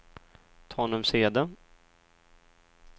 Tanumshede